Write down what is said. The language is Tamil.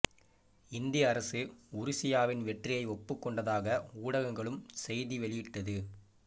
இந்திய அரசு உருசியாவின் வெற்றியைஒப்புக் கொண்டதாக ஊடகங்களும் செய்தி வெளியிட்டுள்ளது